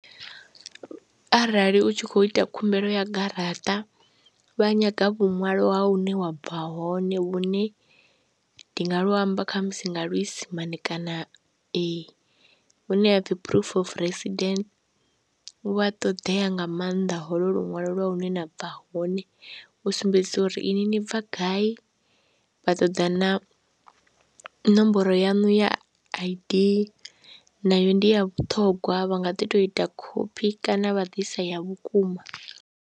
Arali u tshi khou ita khumbelo ya garaṱa vha nyaga vhuṅwalo ha hune wa bva hone vhune ndi nga lu amba kha musi nga luisimane kana hune ha pfhi proof of resident, vhu a ṱoḓea nga maanḓa holo luṅwalo lwa hune nda bva hone u sumbedzisa uri ini ni bva gai, vha ṱoḓa na ṋomboro yanu ya I_D nayo ndi ya vhuṱhongwa vha nga ḓi tou ita khophi kana vha ḓisa ya vhukuma.